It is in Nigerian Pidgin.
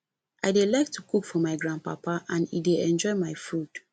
i dey like to cook for my grand papa and e dey enjoy my food